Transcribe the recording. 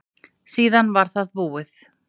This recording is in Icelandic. Síðan var það búið.